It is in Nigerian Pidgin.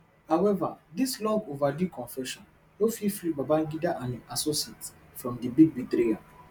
however dis longoverdue confession no fit free babangida and im associates from di big betrayal